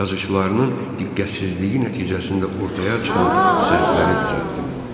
Yazıçılarının diqqətsizliyi nəticəsində ortaya çıxan səhvləri düzəltdim.